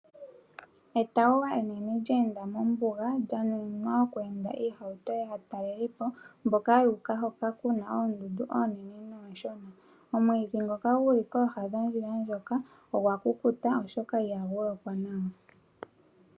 Etawuwa enene lye enda mombuga lya nuninwa okweenda iihauto yaatalelipo mboka yu uka hoka ku na oondundu oonene noonshona. Omwiidhi ngoka gu li kooha dhondjila ndjoka ogwa kukuta, oshoka ihagu lokwa nawa.